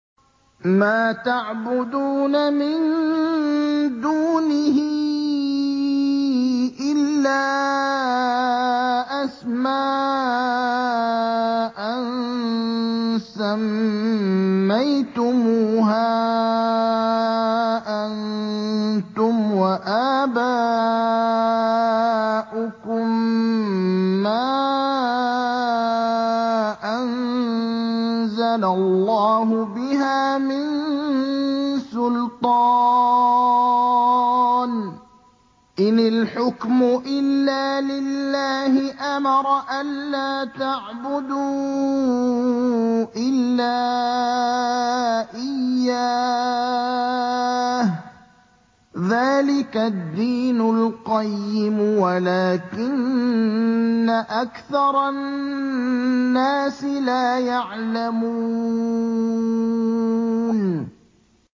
مَا تَعْبُدُونَ مِن دُونِهِ إِلَّا أَسْمَاءً سَمَّيْتُمُوهَا أَنتُمْ وَآبَاؤُكُم مَّا أَنزَلَ اللَّهُ بِهَا مِن سُلْطَانٍ ۚ إِنِ الْحُكْمُ إِلَّا لِلَّهِ ۚ أَمَرَ أَلَّا تَعْبُدُوا إِلَّا إِيَّاهُ ۚ ذَٰلِكَ الدِّينُ الْقَيِّمُ وَلَٰكِنَّ أَكْثَرَ النَّاسِ لَا يَعْلَمُونَ